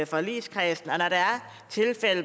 forligskredsen og